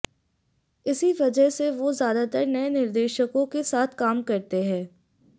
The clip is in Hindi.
इसी वजह से वो ज्यादातर नए निर्देशकों के साथ काम करते हैं